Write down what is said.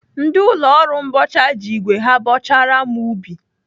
Ndị ụlọ ọrụ mbọcha ji igwe ha bọchara m ubi.